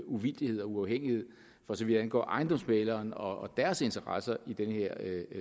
uvildighed og uafhængighed for så vidt angår ejendomsmæglere og deres interesser i den her